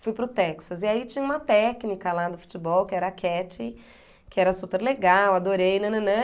Fui para o Texas e aí tinha uma técnica lá do futebol que era a Catty, que era super legal, adorei, nananã.